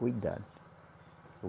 Cuidado.